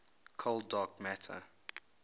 cold dark matter